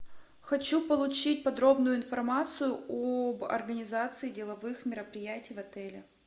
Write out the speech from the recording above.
хочу получить подробную информацию об организации деловых мероприятий в отеле